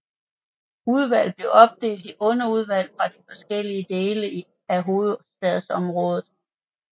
Udvalget blev opdelt i underudvalg for de forskellige dele af hovedstadsområdet